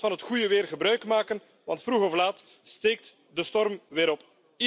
Laat ons van het goede weer gebruikmaken, want vroeg of laat steekt de storm weer op.